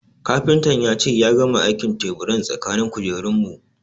Kafintan ya ce ya gama aikin teburan tsakanin kujerun mu